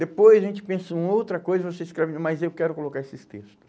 Depois a gente pensa em outra coisa, você escreve, mas eu quero colocar esses textos.